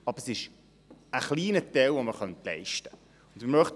Aber es ist ein kleiner Beitrag, den wir leisten könnten.